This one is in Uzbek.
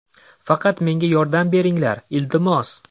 Faqat menga yordam beringlar, iltimos.